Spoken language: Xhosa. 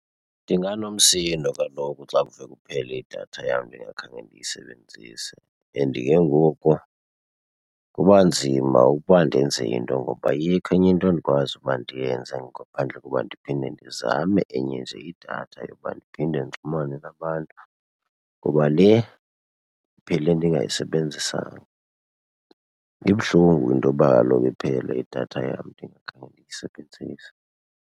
Ndinganomsindo kaloku xa kuve kuphele idatha yam ndingakhange ndiyisebenzise. And ke ngoku kuba nzima ukuba ndenze into ngoba ayikho enye into endikwazi uba ndiyenze ngaphandle koba ndiphinde ndizame enye nje idatha yoba ndiphinde ndixhumane nabantu ngoba le iphele ndingayisebenzisanga. Ibuhlungu into yoba kaloku iphele idatha yam ndingakhange ndiyisebenzise.